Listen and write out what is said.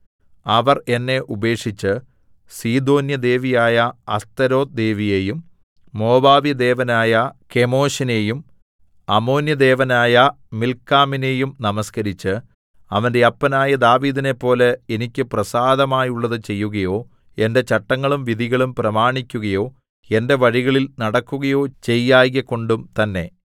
അവർ എന്നെ ഉപേക്ഷിച്ച് സീദോന്യദേവിയായ അസ്തോരെത്ത് ദേവിയേയും മോവാബ്യദേവനായ കെമോശിനെയും അമ്മോന്യദേവനായ മില്ക്കോമിനെയും നമസ്കരിച്ച് അവന്റെ അപ്പനായ ദാവീദിനെപ്പോലെ എനിക്ക് പ്രസാദമായുള്ളത് ചെയ്യുകയോ എന്റെ ചട്ടങ്ങളും വിധികളും പ്രമാണിക്കുകയോ എന്റെ വഴികളിൽ നടക്കുകയോ ചെയ്യായ്ക കൊണ്ടും തന്നേ